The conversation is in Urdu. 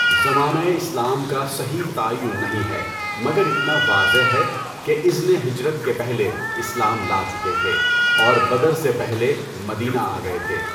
زمانۂ اسلام کا صحیح تعین نہیں ہے مگر اتنا واضح ہے کہ اِذنِ ہجرت کے پہلے اسلام لا چکے تھے اور بدر سے پہلے مدینہ آ گئے تھے۔